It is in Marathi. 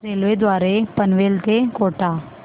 रेल्वे द्वारे पनवेल ते कोटा